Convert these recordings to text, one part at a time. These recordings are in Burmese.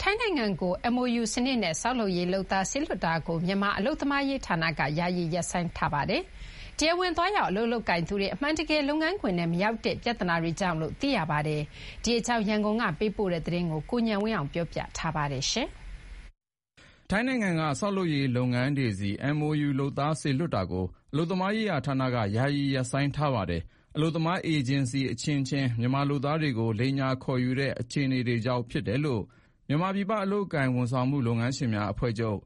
ထိုင်းနိုင်ငံကို MOU စနစ်နဲ့ ဆောက်လုပ်ရေးလုပ်သား စေလွှတ်တာကို မြန်မာအလုပ်သမားရေးဌာနက ယာယီရပ်ဆိုင်းထားပါတယ်။ တရားဝင်သွားရောက် အလုပ်လုပ်ကိုင်သူတွေ အမှန်တကယ် လုပ်ငန်းခွင်ထဲမရောက်တဲ့ ပြဿနာတွေကြောင့်လို့ သိရပါတယ်။ ဒီအကြောင်း ရန်ကုန်ကပေးပို့တဲ့သတင်းကို ကိုဉာဏ်ဝင်းအောင်က တင်ပြပေးထားပါတယ်။ ထိုင်းနိုင်ငံက ဆောက်လုပ်ရေးလုပ်ငန်းတွေဆီ MOU လုပ်သားစေလွှတ်တာကို အလုပ်သမားရေးဌာနက ယာယီရပ်ဆိုင်းထားပါတယ်။ အလုပ်သမား အေဂျင်စီအချင်းချင်း မြန်မာလုပ်သားတွေကို လိမ်ညာခေါ်ယူတဲ့ အခြေအနေကြောင့်ဖြစ်တယ်လို့ မြန်မာပြည်ပ အလုပ်အကိုင်ဝန်ဆောင်မှု လုပ်ငန်းရှင်များအဖွဲ့ချုပ်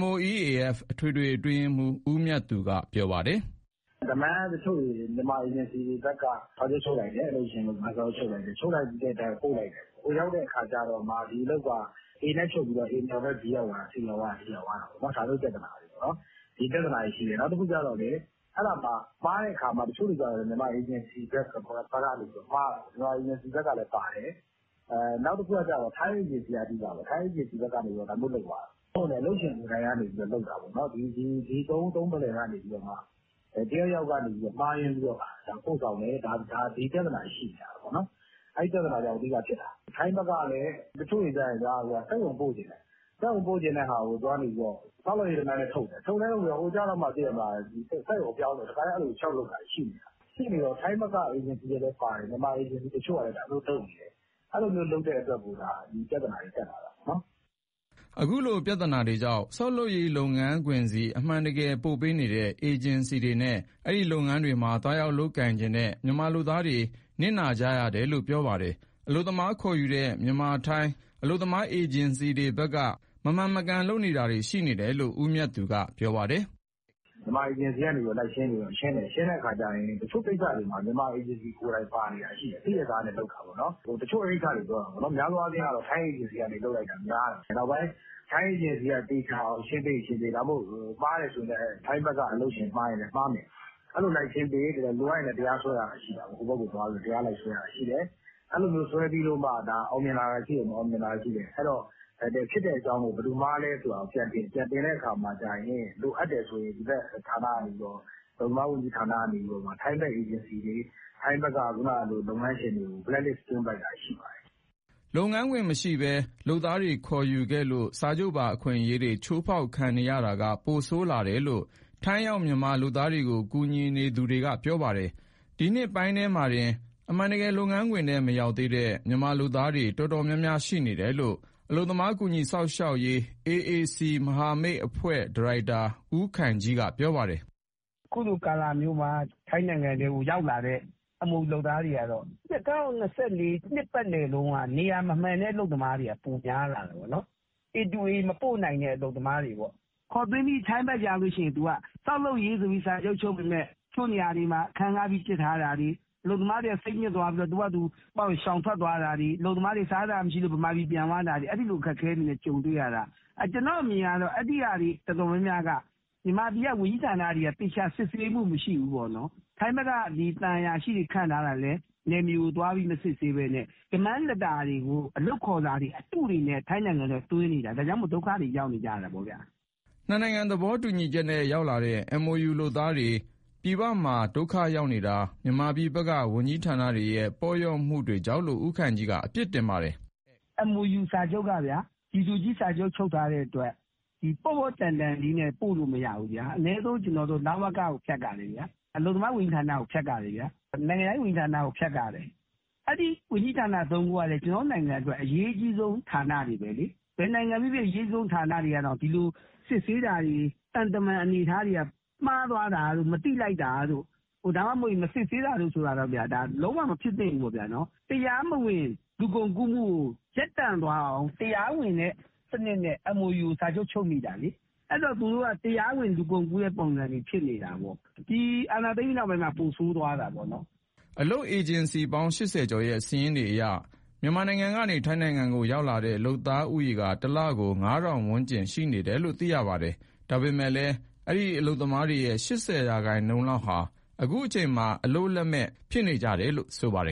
MOEAF အထွေထွေအတွင်းရေးမှူး ဦးမြတ်သူက ပြောပါတယ်။ "Demand တချို့ကို မြန်မာအေဂျင်စီတွေဘက်က အလုပ်ရှင်၊ အလုပ်သမား စာချုပ်ချုပ်လိုက်တယ်။ ချုပ်လိုက်ပြီးတော့ ပို့လိုက်တယ်။ ဟိုရောက်တဲ့အခါကျမှ ဒီအလုပ်က A နဲ့ချုပ်ပြီးတော့ A ဆီမရောက်ဘဲ B, C, D ရောက်သွားတာပေါ့။ ဒီပြဿနာတွေ ရှိတယ်။ နောက်တခုကျတော့ မှားတဲ့အခါမှာ မြန်မာအေဂျင်စီဘက်က မှားတာ။ ထိုင်းအေဂျင်စီလည်း ပါတယ်။ ထိုင်းအေဂျင်စီဘက်က ဒါမျိုးလုပ်သွားတာ။ ဒါမှမဟုတ်လည်း အလုပ်ရှင်ကိုယ်တိုင်က လုပ်တာ။ ဒီ သုံးဦးသုံးဖလှယ်ကနေပြီး တယောက်ယောက်က မှားယွင်းပြီးတော့ ပို့ဆောင်တယ်။ ဒီပြဿနာတွေ ရှိနေတာပေါ့။ ထိုင်းဘက်ကလည်း တချို့တွေက စက်ရုံပို့ချင်တာ။ စက်ရုံပို့ချင်တဲ့ဟာကို ဆောက်လုပ်ရေး Demand နဲ့ထုတ်တယ်။ ဟိုရောက်တော့မှ စက်ရုံပြောင်းတယ်။ အဲလို လျှောက်လုပ်တာတွေရှိတယ်။ ရှိနေတော့ ထိုင်းဘက်ကလည်းပါတယ်။ မြန်မာအေဂျင်စီတချို့ကလည်း သူတို့လုပ်နေတယ်။ အဲလိုတွေ လုပ်တဲ့အတွက်ကို ဒီပြဿနာတွေ တက်လာတာပဲ။" အခုလို ပြဿနာတွေကြောင့် ဆောက်လုပ်ရေးလုပ်ငန်းခွင်ဆီ အမှန်တကယ်ပို့ပေးနေတဲ့ အေဂျင်စီတွေနဲ့ အဲဒီလုပ်ငန်းတွေမှာ သွားရောက်လုပ်ကိုင်ချင်တဲ့ မြန်မာလုပ်သားတွေ နစ်နာရတယ်လို့ ပြောပါတယ်။ အလုပ်သမားခေါ်ယူတဲ့ မြန်မာ - ထိုင်း အလုပ်သမားအေဂျင်စီတွေဘက်က မမှန်မကန်လုပ်တာတွေရှိနေတယ်လို့ ဦးမြတ်သူက ပြောပါတယ်။ "မြန်မာအေဂျင်စီဘက်က လိုက်ရှင်းတဲ့အခါကျရင် တချို့ကိစ္စတွေမှာ မြန်မာအေဂျင်စီကိုယ်တိုင် ပါနေတာရှိတယ်။ သိရဲ့သားနဲ့ လုပ်တာပေါ့နော်။ များသောအားဖြင့်ကတော့ ထိုင်းအေဂျင်စီက လုပ်လိုက်တာများတယ်။ နောက်ပိုင်း ထိုင်းအေဂျင်စီက သေချာရှင်းပေးရင်ရှင်းပေး။ မှားတယ်ဆိုရင်လည်း ထိုင်းဘက်က အလုပ်ရှင် မှားရင်မှားမယ်။ လိုအပ်ခဲ့ရင် ဟိုဘက်ကိုသွားပြီးတော့ တရားလိုက်စွဲတာရှိတယ်။ အဲလိုစွဲလိုက်လို့ အောင်မြင်လာတာရှိသလို၊ မအောင်မြင်လာတာရှိတယ်။ အဲတော့ ဖြစ်တဲ့အကြောင်းကို ဘယ်သူမှားလဲဆိုတာ ပြန်တင်။ ပြန်တင်တဲ့အခါမှာ လိုအပ်တယ်ဆိုရင် ဒီဘက် အလုပ်သမားဝန်ကြီးဌာနက နေပြီးတော့ ထိုင်းဘက်က အေဂျင်စီတွေ၊ လုပ်ငန်းရှင်တွေကို Blacklist သွင်းလိုက်တာ ရှိပါတယ်။" လုပ်ငန်းခွင်မရှိဘဲ လုပ်သားတွေခေါ်ယူခဲ့လို့ စာချုပ်ပါအခွင့်အရေးတွေ ချိုးဖောက်ခံနေရတာက ပိုဆိုးလာတယ်လို့ ထိုင်းရောက်မြန်မာလုပ်သားတွေကို ကူညီနေသူတွေက ပြောပါတယ်။ ဒီနှစ်ပိုင်းထဲမှာတင် အမှန်တကယ်လုပ်ငန်းခွင်ထဲ မရောက်သေးတဲ့ မြန်မာလုပ်သားတွေ တော်တော်များများ ရှိနေတယ်လို့ အလုပ်သမားကူညီစောင့်ရှောက်ရေး AAC မဟာမိတ်အဖွဲ့ ဒါရိုက်တာ ဦးခိုင်ကြီးက ပြောပါတယ်။ "အခုလိုကာလမျိုးမှာ ထိုင်းနိုင်ငံထဲကို ရောက်လာတဲ့ MOU လုပ်သားတွေကတော့ ၂၀၂၄ တနှစ်ပတ်လုံးက နေရာမမှန်တဲ့ အလုပ်သမားတွေ ပိုများလာတယ်။ A to A မပို့နိုင်တဲ့ အလုပ်သမားတွေပေါ့။ ခေါ်သွင်းပြီး ထိုင်းဘက်ရောက်ရင် ဆောက်လုပ်ရေးဆိုပြီး စာချုပ်ချုပ်ပေမယ့် တချို့နေရာတွေမှာ အခန်းငှားပြီး ပစ်ထားတာတွေ၊ အလုပ်သမားတွေက စိတ်ညစ်သွားပြီးတော့ သူ့ဟာသူ ရှောင်ထွက်သွားတာတွေ၊ စားစရာမရှိလို့ ဗမာပြည်ပြန်သွားတာတွေ။ အဲဒီလို အခက်အခဲတွေနဲ့ ကြုံတွေ့ရတာ။ ကျနော့်အမြင်ကတော့ အဲဒီဟာတွေ တော်တော်များများက မြန်မာပြည်က ဝန်ကြီးဌာနတွေက သေချာစစ်ဆေးမှု မရှိဘူး။ ထိုင်းဘက်က သံအရာရှိတွေ ခန့်ထားတာလည်း နယ်မြေကိုသွားပြီး မစစ်ဆေးဘဲနဲ့ အလုပ်ခေါ်စာအတုတွေနဲ့ ထိုင်းနိုင်ငံထဲကို သွင်းနေတာ။ ဒါကြောင့်မို့ ဒုက္ခတွေ ရောက်ကြတာပေါ့ဗျာ။" နှစ်နိုင်ငံသဘောတူညီချက်နဲ့ ရောက်လာတဲ့ MOU လုပ်သားတွေ ပြည်ပမှာဒုက္ခရောက်နေတာ မြန်မာပြည်ဘက်က ဝန်ကြီးဌာနတွေရဲ့ ပေါ့လျော့မှုကြောင့်လို့ ဦးခိုင်ကြီးက အပြစ်တင်ပါတယ်။ "MOU စာချုပ်က G to G ချုပ်ထားတဲ့အတွက် ပေါ့ပေါ့တန်တန်လေး ပို့လို့မရဘူး။ အနည်းဆုံးတော့ လဝက ဖြတ်ရတယ်ဗျာ။ အလုပ်သမားဝန်ကြီးဌာန၊ နိုင်ငံခြားရေးဝန်ကြီးဌာန ဖြတ်ရတယ်။ အဲဒီဝန်ကြီးဌာန ၃ ခုကလည်း ကျနော်တို့နိုင်ငံအတွက် အရေးကြီးဆုံး ဌာနတွေပဲလေ။ ဒီလိုဌာနတွေကတောင် စစ်ဆေးတာတွေ၊ သံတမန်အနေအထားတွေက မှားသွားတာတို့၊ မသိလိုက်တာတို့၊ ဒါမှမဟုတ်ရင် မစစ်ဆေးတာတို့က လုံးဝမဖြစ်သင့်ဘူးပေါ့ဗျာ။ တရားမဝင် လူကုန်ကူးမှုကို ရပ်တန့်သွားအောင် တရားဝင်တဲ့စနစ်နဲ့ MOU ကို စာချုပ်ချုပ်မိတာလေ။ အဲဒီတော့ သူတို့က တရားဝင်လူကုန်ကူးတဲ့ ပုံစံတွေဖြစ်နေတာပေါ့။ ဒီအာဏာသိမ်းပြီး နောက်ပိုင်းမှာ ပိုဆိုးသွားတာပေါ့။" အလုပ်အေဂျင်စီပေါင်း ၈၀ ကျော်ရဲ့ စာရင်းတွေအရ မြန်မာပြည်ကနေ ထိုင်းနိုင်ငံကိုရောက်လာတဲ့ လုပ်သားဦးရေက တလကို ၅,၀၀၀ ဝန်းကျင်ရှိနေတယ်လို့ သိရပါတယ်။ ဒါပေမယ့်လည်း အဲဒီအလုပ်သမားတွေရဲ့ ၈၀ ရာခိုင်နှုန်းလောက်ဟာ အခုချိန်မှာ အလုပ်လက်မဲ့ဖြစ်နေတယ်လို့ ဆိုပါတယ်